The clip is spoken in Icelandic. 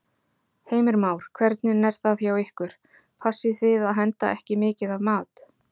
Heimir Már: Hvernig er það hjá ykkur, passið þið að henda ekki mikið af mat?